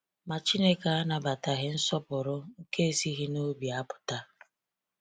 Ma Chineke anabataghị nsọpụrụ nke esighi n'obi apụta.